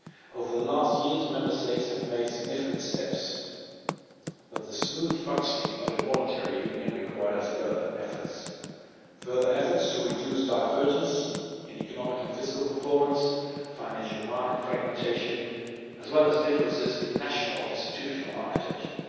Over the last years, Member States have made significant steps, but the smooth functioning of a monetary union requires further efforts to reduce divergence in economic and fiscal performance, financial market fragmentation, as well as differences in national institutional architecture.